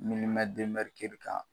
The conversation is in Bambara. kan